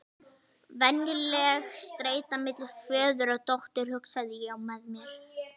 Venjuleg streita milli föður og dóttur, hugsaði ég með mér.